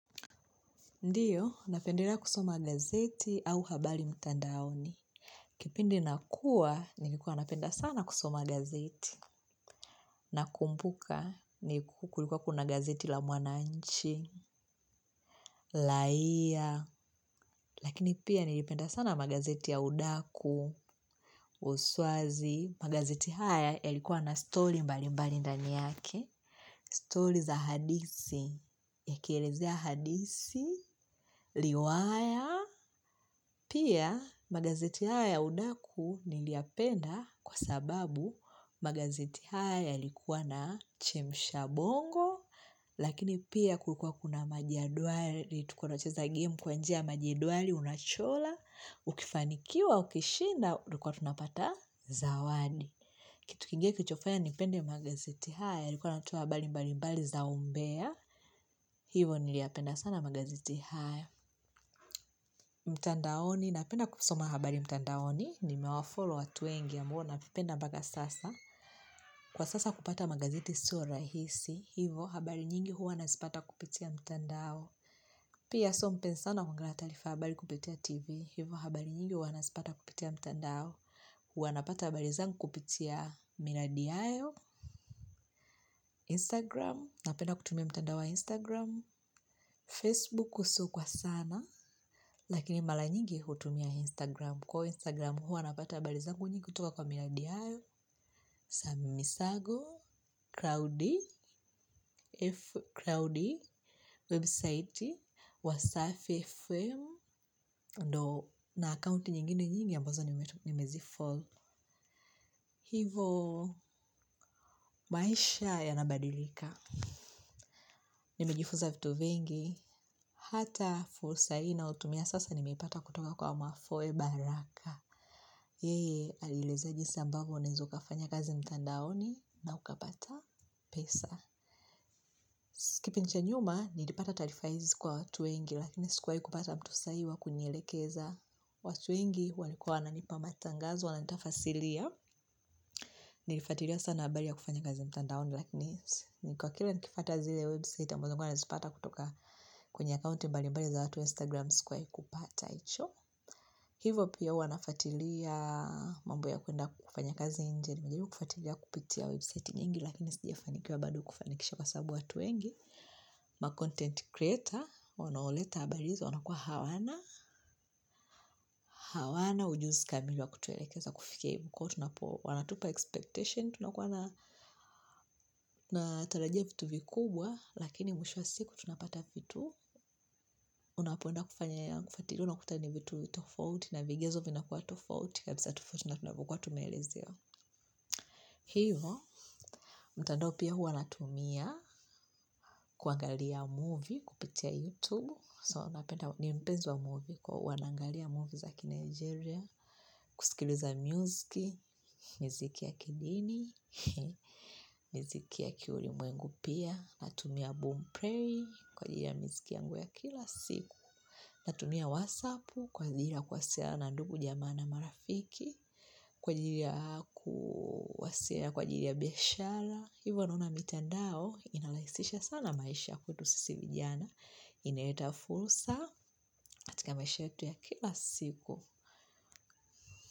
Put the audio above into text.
Ndiyo, napendelea kusoma gazeti au habari mtandaoni. Kipindi nakua, nilikuwa napenda sana kusoma gazeti. Nakumbuka, kulikuwa kuna gazeti la mwananchi, raia. Lakini pia nilipenda sana magazeti ya udaku, uswazi. Magazeti haya, yalikuwa na story mbali mbali ndani yake. Stori za hadisi. Yakielezea hadithi. Riwaya. Pia, magazeti haya ya udaku niliyapenda kwa sababu magazeti haya yalikuwa na chemsha bongo, lakini pia kulikuwa kuna majedwali, tulikua tunacheza gemu kwa njia majedwali, unachora, ukifanikiwa, ukishinda, tulikuwa tunapata zawadi. Kitu kingene kilichofanya nipende magazeti haya yalikuwa yanatoa habari mbali mbali za umbea, hivo niliyapenda sana magazeti haya. Mtandaoni napenda kusoma habari mtandaoni. Nimewafollow watu wengi ya ambao naenda mpaka sasa. Kwa sasa kupata magazeti sio rahisi. Hivo habari nyingi huwa nazipata kupitia mtandao. Pia so mpenzi sana wa kuangalia taarifa habari kupitia tv. Hivo habari nyingi huwa nazipata kupitia mtandao. Huwa napata habari zangu kupitia Miradi yayo Instagram. Napenda kutumia mtandao wa Instagram Facebook kusu kwa sana. Lakini mara nyingi hutumia Instagram kwa hivo Instagram hua napata habari zangu nyingi kutuka kwa miradiayo samisago, crowdie f crowdie website, wasafi fm, ndio na akaunti nyingine nyingi ambazo nimezifollow, hivo maisha ya nabadilika nimejifunza vitu vengi hata fursa hii ninaotumia sasa nimeipata kutuka kwa mafoe baraka, yeye alielezea jinsi ambavyo unaweza ukafanya kazi mtandaoni na ukapata pesa. Kipindi cha nyuma nilipata taarifa hizi kwa watu wengi lakini sikuwahi kupata mtu sahihi wa kunielekeza watu wengi walikuwa wananipa matangazo wana nitafasria. Nilifuatilia sana habari ya kufanya kazi mtandaoni lakini niko kiae nikifuata zile website ambazo nilikua nazipata kutoka kwenye akaunti mbali mbali za watu wa instagram sikuwahi kupata hicho. Hivo pia huwa nafuatilia mambo ya kuenda kufanya kazi nje. Najaribu kufatilia kupitia website nyingi lakini sijafanikiwa bado kufanikisha kwa sababu watu wengi ma content creator wanaoleta habari hizo wanakuwa hawana hawana ujuzi kamili wa kutuelekeza kufikia huko tunapo wanatupa expectation tunakua tunatarajia vitu vikubwa lakini mwishwo siku tunapata vitu unapoenda kufanya kufuatilia unakuta ni vitu tofauti na vigezo vinakuwa tofauti kabisa tofauti tunavyokua tumeelezewa hiyo, mtandao pia huwa natumia kuangalia movie kupitia youtube so napenda ni mpenzi wa movie kwa hua naangalia movie za kinaijeria kusikiliza muziki, miziki ya kidini miziki ya kiulimwengu pia natumia boom play kwa ajili ya miziki yangu ya kila siku natumia wasapu kwa ajili ya kuwasiliana na ndugu jamaa na marafiki kwa ajili ya kuwasiliana kwa ajili ya biashara hivyo naona mitandao inarahisisha sana maisha ya kwetu sisi vijana inaleta fursa katika maisha yetu ya kila siku.